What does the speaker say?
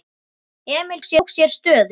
Emil tók sér stöðu.